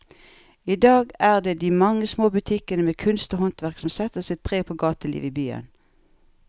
I dag er det de mange små butikkene med kunst og håndverk som setter sitt preg på gatelivet i byen.